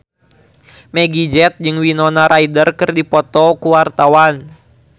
Meggie Z jeung Winona Ryder keur dipoto ku wartawan